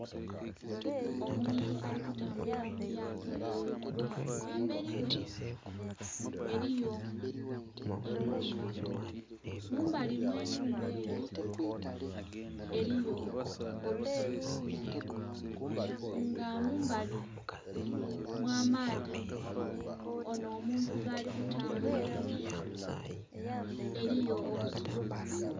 Omuntu ali kutambulila mulyato erili ku maadhi, ghamberi ghe eriyo enhumba mumbali mwe nhumba eyo eriyo olusozi nga mumbali mwaadhi onho omuntu gali kutambulilamu eriyo obusubi.